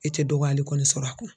I tɛ dɔgɔyali kɔni sɔrɔ a kɔnɔ.